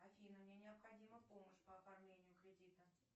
афина мне необходима помощь по оформлению кредита